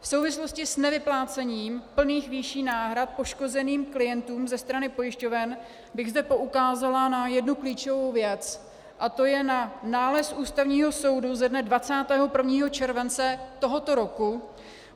V souvislosti s nevyplácením plných výší náhrad poškozeným klientům ze strany pojišťoven bych zde poukázala na jednu klíčovou věc a to je na nález Ústavního soudu ze dne 21. července tohoto roku.